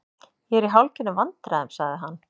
Ég er í hálfgerðum vandræðum- sagði hann.